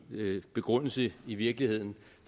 begrundelse i virkeligheden